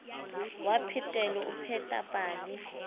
wa phetelo o pheta pale